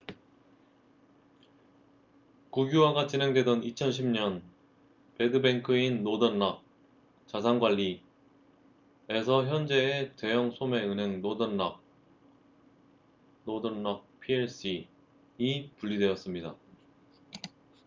국유화가 진행되던 2010년 '배드뱅크'인 노던 락자산 관리에서 현재의 대형 소매 은행 노던 락northern rock plc이 분리되었습니다